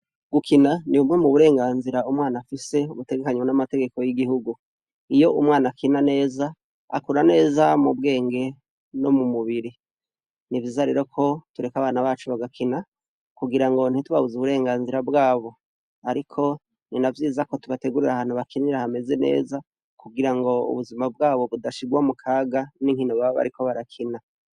Gukina nibwo uburengazira umwana afise mumategeko yigihugu iyo umwana akina neza akura neza mubwenge no mumubiri nivyiza rero ko tureka abana bacu bagakina kugirango ntitubabuze uburengazira bwabo ariko ni navyiza tubategurire aho bakinira hameze neza kugirango ubuzima bwabo butashirwa mukaka ningene baba bariko barakina